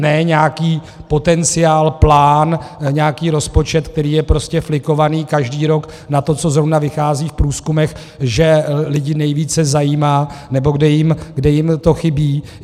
Ne nějaký potenciál, plán, nějaký rozpočet, který je prostě flikovaný každý rok na to, co zrovna vychází v průzkumech, že lidi nejvíce zajímá nebo kde jim to chybí.